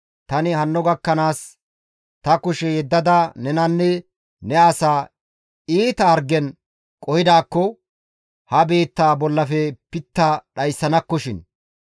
Tani hanno gakkanaas ta kushe yeddada nenanne ne asaa iita hargen qohidaakko ha biittaa bollafe pitta dhayssanakkoshin.